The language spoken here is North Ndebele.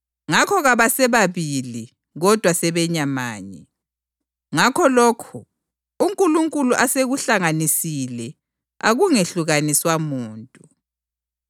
Ngakho kabasebabili, kodwa sebenyamanye. Ngakho, lokho uNkulunkulu asekuhlanganisile akungehlukaniswa muntu.”